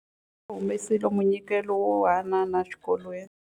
Va humesile munyikelo wo hanana exikolweni.